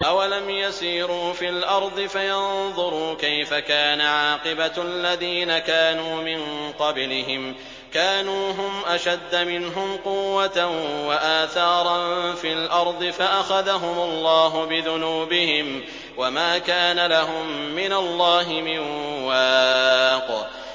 ۞ أَوَلَمْ يَسِيرُوا فِي الْأَرْضِ فَيَنظُرُوا كَيْفَ كَانَ عَاقِبَةُ الَّذِينَ كَانُوا مِن قَبْلِهِمْ ۚ كَانُوا هُمْ أَشَدَّ مِنْهُمْ قُوَّةً وَآثَارًا فِي الْأَرْضِ فَأَخَذَهُمُ اللَّهُ بِذُنُوبِهِمْ وَمَا كَانَ لَهُم مِّنَ اللَّهِ مِن وَاقٍ